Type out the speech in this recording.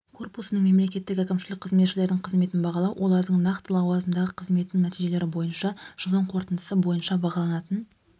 корпусының мемлекеттік әкімшілік қызметшілерінің қызметін бағалау олардың нақты лауазымдағы қызметінің нәтижелері бойынша жылдың қорытындысы бойынша бағаланатын